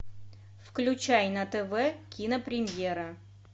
включай на тв кинопремьера